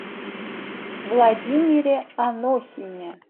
владимире анохине